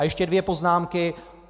A ještě dvě poznámky.